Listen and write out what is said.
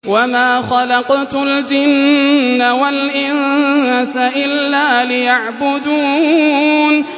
وَمَا خَلَقْتُ الْجِنَّ وَالْإِنسَ إِلَّا لِيَعْبُدُونِ